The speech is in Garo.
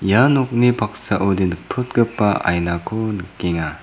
ia nokni paksaode nikprotgipa ainako nikenga.